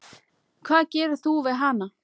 Hvað gerir þú við hana?